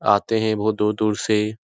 आते हैं बहुत दूर-दूर से --